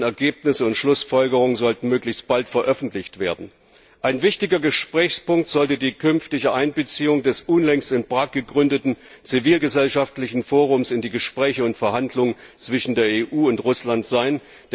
Deren Ergebnisse und Schlussfolgerungen sollten möglichst bald veröffentlicht werden. Ein wichtiger Gesprächspunkt sollte die künftige Einbeziehung des unlängst in Prag gegründeten zivilgesellschaftlichen Forums in die Gespräche und Verhandlungen zwischen der EU und Russland sein.